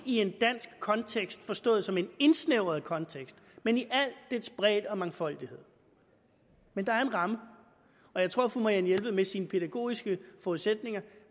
i en dansk kontekst forstået som en indsnævret kontekst men i al dens bredde og mangfoldighed men der er en ramme og jeg tror fru marianne jelved med sine pædagogiske forudsætninger